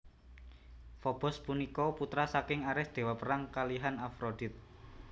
Fobos punika putra saking Ares dewa perang kalihan Afrodit